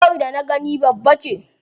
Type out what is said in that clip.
Giwar da na gani babbace.